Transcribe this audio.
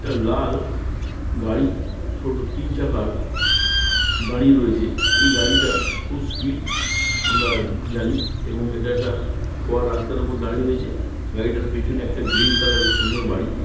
একটা লাল গাড়ি ছোট তিন চাকার দাঁড়িয়ে রয়েছে এই গাড়িটা খুব স্পিড . আমরা জানি এবং এটা একটা খোয়ার রাস্তার উপর দাঁড়িয়ে রয়েছে। গাড়িটার পেছনে একটা গ্রীন কালার -এর সুন্দর বাড়ি।